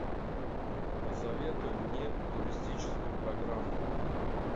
посоветуй мне туристическую программу